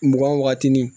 Mugan wagati ni